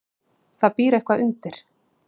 Það býr eitthvað undir.